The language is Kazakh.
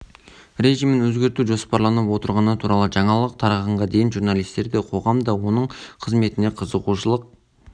режимін өзгерту жоспарланып отырғаны туралы жаңалық тарағанға дейін журналистер де қоғам да оның қызметіне қызығушылық